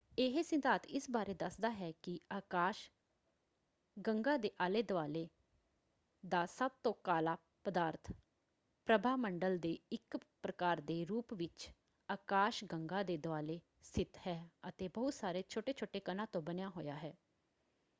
ਇਹ ਸਿਧਾਂਤ ਇਸ ਬਾਰੇ ਦੱਸਦਾ ਹੈ ਕਿ ਆਕਾਸ਼ ਗੰਗਾ ਦੇ ਆਲੇ-ਦੁਆਲੇ ਦਾ ਸਭ ਤੋਂ ਕਾਲਾ ਪਦਾਰਥ ਪ੍ਰਭਾਮੰਡਲ ਦੇ ਇੱਕ ਪ੍ਰਕਾਰ ਦੇ ਰੂਪ ਵਿੱਚ ਆਕਾਸ਼ਗੰਗਾ ਦੇ ਦੁਆਲੇ ਸਥਿਤ ਹੈ ਅਤੇ ਬਹੁਤ ਸਾਰੇ ਛੋਟੇ-ਛੋਟੇ ਕਣਾਂ ਤੋਂ ਬਣਿਆ ਹੋਇਆ ਹੈ।